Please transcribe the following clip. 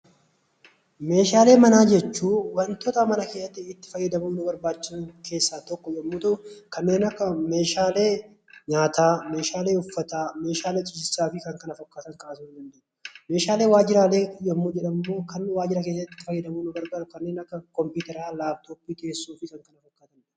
Meeshaalee manaa jechuun waantota mana keessatti itti fayyadamnu, nu barbaachisan keessaa isa tokkodha. Meeshaalee nyaata, Meeshaalee uffataa, Meeshaalee kanneen kana fakkaatan kaasuun ni danda'ama. Meeshaalee waajiraalee kan jedhamu immoo itti fayyadamuun nu barbaachisu, kanneen akka kompiitara, laapitooppii fi bilbilaa